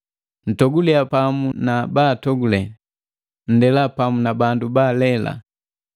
Ntogulia pamu na baatogule, nndela pamu na bandu baalela.